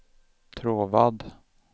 Tråvad